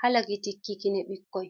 ha lakitikki kine ɓikkoi.